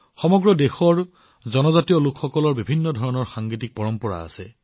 সমগ্ৰ দেশৰ জনজাতীয় লোকসকলৰ বিভিন্ন সংগীত পৰম্পৰা আছে